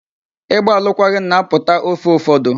Ịgba alụkwaghịm na-apụta ofe ụfọdụ.